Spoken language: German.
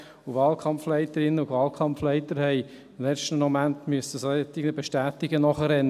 Wahlkampfleiterinnen und Wahlkampfleiter mussten im letzten Moment entsprechenden Bestätigungen nachrennen.